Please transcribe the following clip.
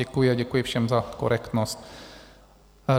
Děkuji a děkuji všem za korektnost.